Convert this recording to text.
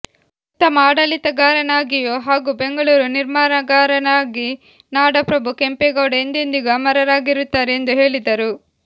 ಉತ್ತಮ ಆಡಳಿತಗಾರನಾಗಿಯೂ ಹಾಗೂ ಬೆಂಗಳೂರು ನಿರ್ಮಾಣಗಾರರಾಗಿ ನಾಡಪ್ರಭು ಕೆಂಪೇಗೌಡ ಎಂದೆಂದಿಗೂ ಅಮರರಾಗಿರುತ್ತಾರೆ ಎಂದು ಹೇಳಿದರು